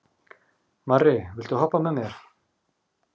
Marri, viltu hoppa með mér?